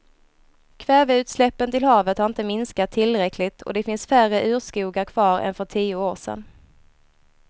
Kväveutsläppen till havet har inte minskat tillräckligt och det finns färre urskogar kvar än för tio år sedan.